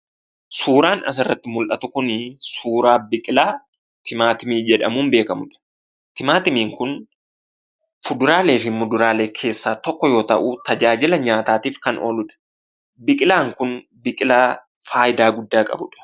Suuraan asirratti mul'atu kunii suuraa biqilaa timaatimii jedhamuun beekamudha. Timaatimiin kun fuduraaleefi muduraalee keessaa tokko yoo ta'u tajaajila nyaataaf kan ooludha biqilaan kun fayidaalee guddaa kan qabudha.